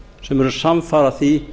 sem eru samfara því